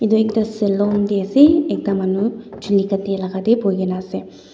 edu ekta saloon deh asey ekta manu chuli katia laga deh bhuigina asey.